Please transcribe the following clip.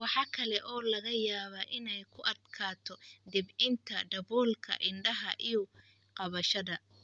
Waxa kale oo laga yaabaa inay ku adkaato debcinta daboolka indhaha iyo qabashada.